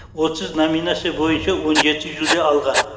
отыз номинация бойынша он жеті жүлде алған